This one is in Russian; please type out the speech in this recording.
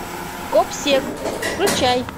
гобсек включай